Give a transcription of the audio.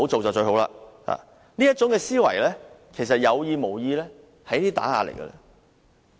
這種思維，不論是有意或無意，其實都是打壓。